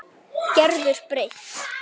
Gerður breytt.